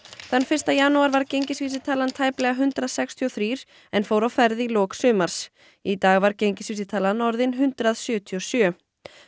þann fyrsta janúar var gengisvísitalan tæplega hundrað sextíu og þrjú en fór á ferð í lok sumars í dag var gengisvísitalan orðin hundrað sjötíu og sjö